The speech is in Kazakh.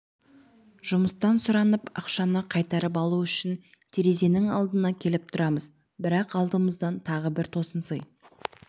жұмыстан сұранып ақшаны қайтарып алу үшін терезенің алдына келіп тұрамыз бірақ алдымыздан тағы бір тосын сый